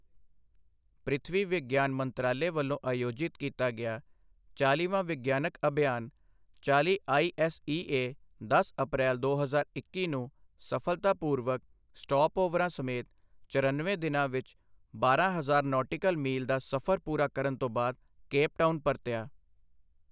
ਪ੍ਰਿਥਵੀ ਵਿਗਿਆਨ ਮੰਤਰਾਲੇ ਵੱਲੋਂ ਆਯੋਜਿਤ ਕੀਤਾ ਗਿਆ ਚਾਲ੍ਹੀਵਾਂ ਵਿਗਿਆਨਕ ਅਭਿਆਨ ਚਾਲ੍ਹੀ ਆਈਐੱਸਈਏ ਦਸ ਅਪ੍ਰੈਲ, ਦੋ ਹਜ਼ਾਰ ਇੱਕੀ ਨੂੰ ਸਫਲਤਾਪੂਰਵਕ, ਸਟਾਪਓਵਰਾਂ ਸਮੇਤ, ਚਰਨਵੇਂ ਦਿਨਾਂ ਵਿੱਚ ਬਾਰਾਂ ਹਜ਼ਾਰ ਨੌਟਿਕਲ ਮੀਲ ਦਾ ਸਫਰ ਪੂਰਾ ਕਰਨ ਤੋਂ ਬਾਅਦ ਕੇਪ ਟਾਊਨ ਪਰਤਿਆ।